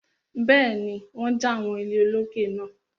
Bẹ́ẹ̀ni, wọ́n ja àwọn ilé olókè náà.